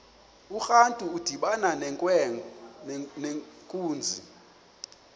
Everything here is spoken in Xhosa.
urantu udibana nenkunzi